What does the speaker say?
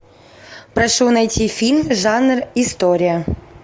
прошу найти фильм жанр история